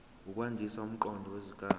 ukwandisa umqondo wesigaba